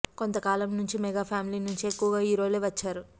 కొంత కాలం నుంచి మెగా ఫ్యామిలీ నుంచి ఎక్కువగా హీరోలే వచ్చారు